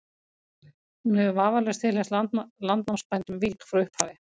hún hefur vafalaust tilheyrt landnámsbænum vík frá upphafi